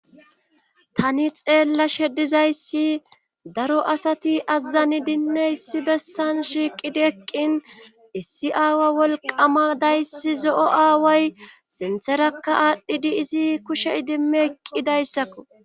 Tani xeella shedizayssi daro asati azazani dinne issi bessan shiiqidi eqqin issi aawa wolqama dayssi zo7o aaway sintherakka aadhdhidi izi kushe idimmi eqqidayssakko